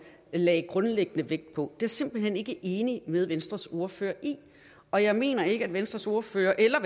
lagde grundlæggende vægt på det simpelt hen ikke enig med venstres ordfører i og jeg mener ikke at venstres ordfører eller